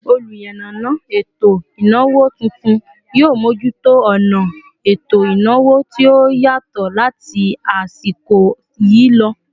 Oluyanana eto ìnáwó tuntun, yio mojuto ona eto ìnáwó tí ó yatọ láti asiko yi lọ